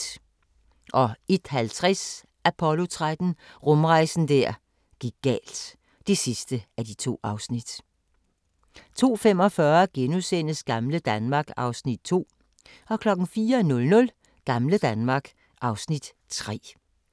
01:50: Apollo 13 – rumrejsen der gik galt (2:2) 02:45: Gamle Danmark (Afs. 2)* 04:00: Gamle Danmark (Afs. 3)